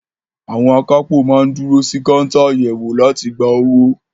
Àwọn akápò máa ń dúró sí káńtà àyẹ̀wò láti gba owó.